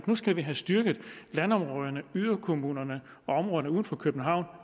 nu skulle vi have styrket landområderne yderkommunerne og områderne uden for københavn